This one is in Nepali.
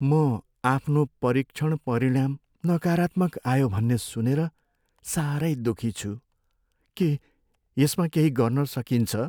म आफ्नो परीक्षण परिणाम नकारात्मक आयो भन्ने सुनेर साह्रै दुःखी छु। के यसमा केही गर्न सकिन्छ?